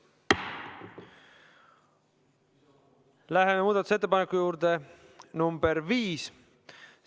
Läheme muudatusettepaneku nr 5 juurde.